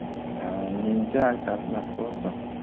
ііі менде айтатын нәрсе осы